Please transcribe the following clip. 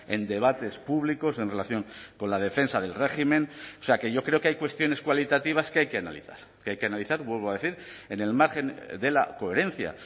en debates públicos en relación con la defensa del régimen o sea que yo creo que hay cuestiones cualitativas que hay que analizar que hay que analizar vuelvo a decir en el margen de la coherencia